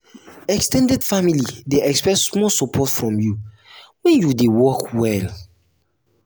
ex ten ded family dey expect small support from you when you dey work well.